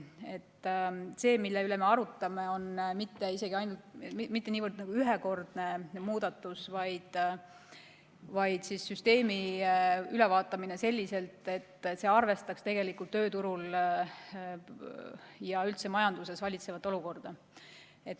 Nii et see, mille üle me arutame, pole isegi mitte niivõrd ühekordne muudatus, vaid on süsteemi ülevaatamine selliselt, et arvestataks tööturul ja üldse majanduses valitsevat olukorda.